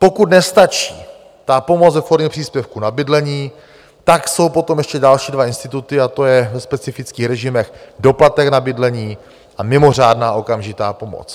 Pokud nestačí ta pomoc ve formě příspěvku na bydlení, tak jsou potom ještě další dva instituty, a to je ve specifických režimech doplatek na bydlení a mimořádná okamžitá pomoc.